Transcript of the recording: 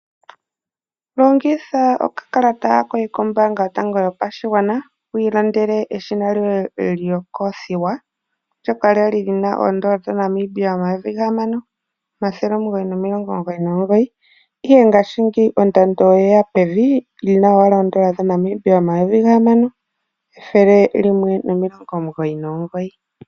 Longitha okakalata koye kombaanga yotango yopashigwana wiilandele eshina lyoye lyokothiwa ndyoka lyali lina N$6999 ihe ngashingeyi ondando oyeya pevi lina owala N$6199.